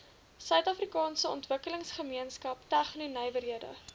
suidafrikaanse ontwikkelingsgemeenskap tegnonywerhede